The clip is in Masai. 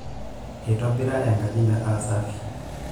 Eitobira enkaji metaa safi.